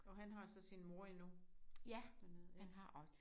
Og han har så sin mor endnu dernede